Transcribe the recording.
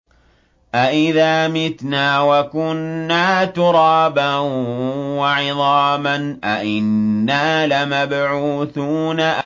أَإِذَا مِتْنَا وَكُنَّا تُرَابًا وَعِظَامًا أَإِنَّا لَمَبْعُوثُونَ